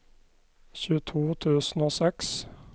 tjueto tusen og seks